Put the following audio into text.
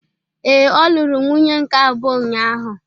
Ee, ọ lụrụ nwunye nke abụọ ụnyahụ.